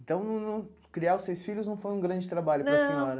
Então, não não criar os seis filhos não foi um grande trabalho para a senhora? Não